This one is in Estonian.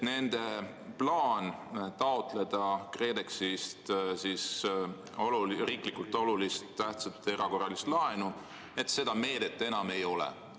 Nad tahtsid taotleda KredExist riiklikult olulist erakorralist laenu, aga seda meedet enam ei ole.